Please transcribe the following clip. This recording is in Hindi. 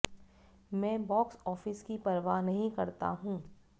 मैं बॉक्स ऑफिस की परवाह नहीं करता हूं